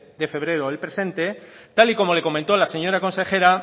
de febrero del presente tal y como le comentó la señora consejera